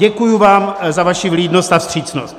Děkuji vám za vaši vlídnost a vstřícnost.